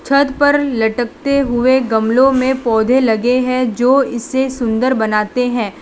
छत पर लटकते हुए गमलों में पौधे लगे हैं जो इसे सुंदर बनाते हैं।